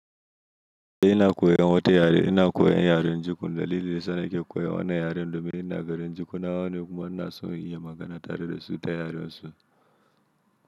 Ina koyan wata yare, ina koyan yaren jukun. Dalilin da yasa nake koyan wannan yaren domin ina garin jukun. Nawa ne kuma ina so in iya magana tare da su ta yaren su.